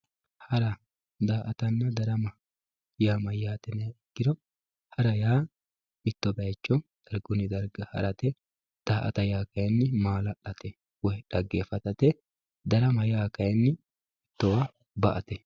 hara daa'atanna darama yaa mayyate yiniha ikkiro hara yaa mitto darga harate daata yaa daa'ata yaa kayinni maala'late dhageefatate darama yaa kaynni miitowa ba'ate